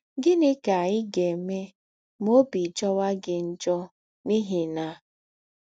Gịnị ka ị ga - eme ma ọbi jọwa gị njọ n’ihi na